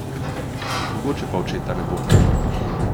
Mogoče pa očeta ne bo?